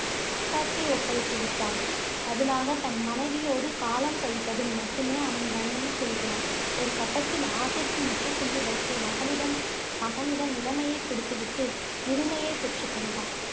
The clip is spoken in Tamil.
அரசாட்சியை ஒப்படைத்து விட்டான். பதிலாக தன் மனைவியோடு காலம் கழிப்பதில் மட்டுமே அவன் கவனம் செலுத்தினான். ஒரு கட்டத்தில், ஆசைக்கு முற்றுப்புள்ளி வைத்து, மகளிடம் மகனிடம் இளமையைக் கொடுத்து விட்டு முதுமையைப் பெற்றுக் கொண்டான்.